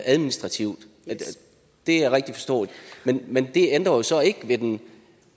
administrativt det er rigtigt forstået men det ændrer så ikke ved den